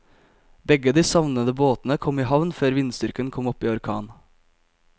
Begge de savnede båtene kom i havn før vindstyrken kom opp i orkan.